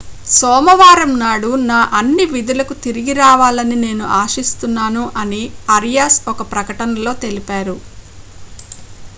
సోమవారం నాడు నా అన్ని విధులకు తిరిగి రావాలని నేను ఆశిస్తున్నాను' అని ఆరియాస్ ఒక ప్రకటనలో తెలిపారు